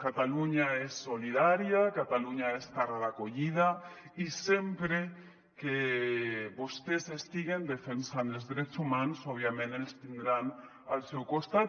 catalunya és solidària catalunya és terra d’acollida i sempre que vostès estiguen defensant els drets humans òbviament ens tindran al seu costat